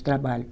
Trabalho.